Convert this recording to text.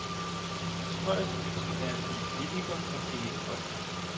Hans højeste ønske er at blive politiker og tjene folket.